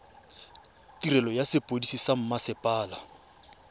tirelo ya sepodisi sa mmasepala